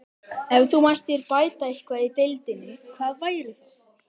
Ef þú mættir bæta eitthvað í deildinni, hvað væri það?